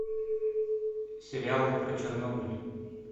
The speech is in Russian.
сериалы про чернобыль